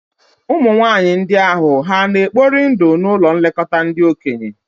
Ụmụ nwanyị ndị ahụ hà na-ekpori ndụ n'ụlọ nlekọta ndị okenye?